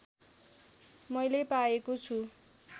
मैले पाएको छु